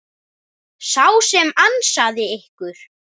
Sá sem ansaði ykkur.